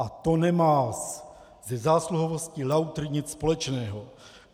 A to nemá se zásluhovostí lautr nic společného.